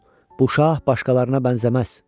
Oğul, bu şah başqalarına bənzəməz.